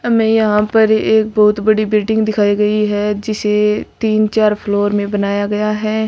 हमें यहां पर एक बहुत बड़ी बिल्डिंग दिखाई गई है जिसे तीन चार फ्लोर में बनाया गया है।